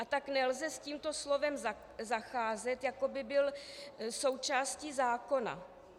A tak nelze s tímto slovem zacházet, jako by bylo součástí zákona.